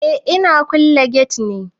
Eh ina kulle gate ne.